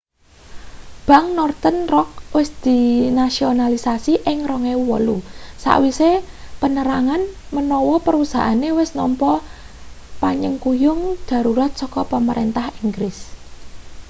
bank northern rock wis dinasionalisasi ing 2008 sawise penerangan menawa perusahaane wis nampa panyengkuyung darurat saka pamarentah inggris